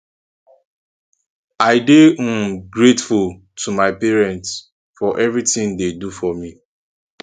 i dey um grateful to my parents for everything dey do for me